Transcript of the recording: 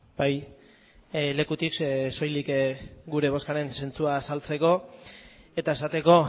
bai lekutik soilik gure bozkaren zentzua azaltzeko eta esateko